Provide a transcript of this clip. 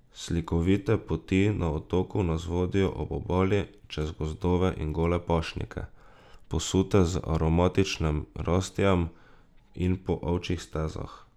Slikovite poti na otoku nas vodijo ob obali, čez gozdove in gole pašnike, posute z aromatičnim rastjem, in po ovčjih stezah.